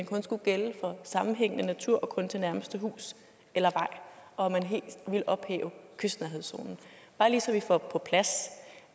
kun skulle gælde for sammenhængende natur og kun til nærmeste hus eller vej og at man helt ville ophæve kystnærhedszonen bare lige så vi får på plads